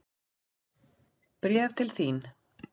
Bréf til þín.